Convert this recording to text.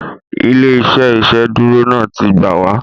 Ilé-iṣẹ́ iṣeduro náà tí gbáà wa